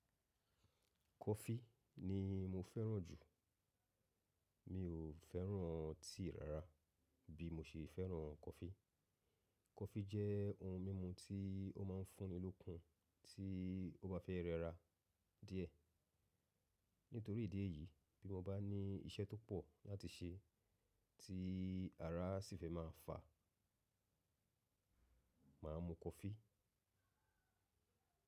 Kọfí ni mo fẹ́ràn jù. Mi ò fẹ́ràn tíì rárá bí mo ṣe fẹ́ràn kọfí. Kọfí jẹ́ ohun mímu tí ó máa ń fún ni lókun tí o bá fẹ́ rẹra díẹ̀. Nítorí ìdí èyí, bí mo bá ní iṣẹ́ tó pọ̀ láti ṣe tí ara sì fẹ́ má a fà, màá mu kọfí.